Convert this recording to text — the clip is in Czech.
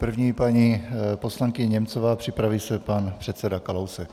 První paní poslankyně Němcová, připraví se pan předseda Kalousek.